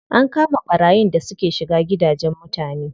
An kama ɓarayin da suke shiga gidajen mutane.